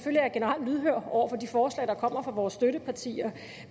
er jeg generelt lydhør over for de forslag der kommer fra vores støttepartier